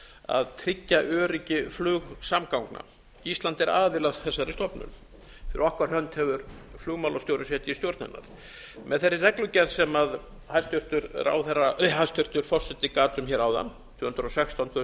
að tryggja öryggi flugsamgangna ísland er aðili að þessari stofnun fyrir okkar hönd hefur flugmálastjóri geta í stjórn hana með þeirri reglugerð sem hæstvirtur forseti gat um hér áðan tvö hundruð og sextán tvö þúsund